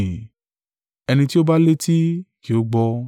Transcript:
Ẹni tí ó bá létí, kí ó gbọ́.”